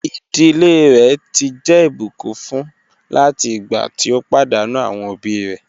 Iḍilẹ̀ rẹ̀ ti jẹ́ ibùkún fún láti igbà tí o padànù awọn obì rẹ̀.